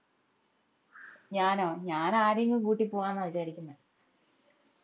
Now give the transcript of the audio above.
ഞാനോ ഞാൻ ആരെയെങ്കിലും കൂട്ടി പോവ്വാന്ന വിചാരിക്കുന്നേ